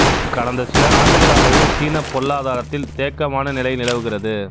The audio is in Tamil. கடந்த சில ஆண்டுகளாகவே சீன பொருளாதாரத்தில் தேக்கமான நிலை நிலவுகிறது